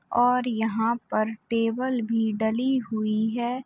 और यहाँ पर टेबल भी डली हुई है।